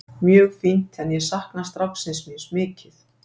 Mjög fínt en ég sakna stráksins míns mikið.